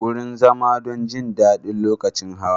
Wurin zama don jin daɗi lokacin hawa.